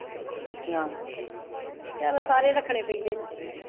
ਚਲੋ ਸਾਰੇ ਰੱਖਣੇ ਪੈਂਦੇ ਨੇ